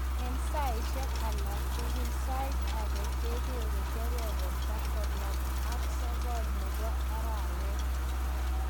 en saisieg alaktugul sait-agee kegere kebeberta konom ag sogol nebo arawet